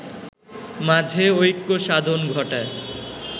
মাঝে ঐক্য সাধন ঘটায়